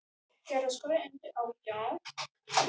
Hödd: Hvað er svona gaman við þetta?